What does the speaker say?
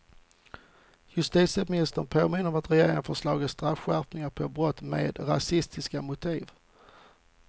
Justitieministern påminner om att regeringen föreslagit straffskärpningar på brott med rasistiska motiv.